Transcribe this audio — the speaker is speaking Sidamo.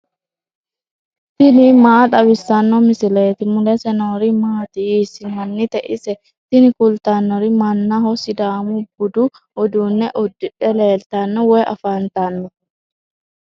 tini maa xawissanno misileeti ? mulese noori maati ? hiissinannite ise ? tini kultannori mannaho. sidaamu budu uduunne uddidhe leeltanno woy afantanno.